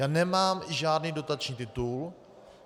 Já nemám žádný dotační titul.